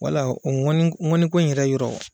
Wala o ŋɔni ŋɔni ko in yɛrɛ yɔrɔ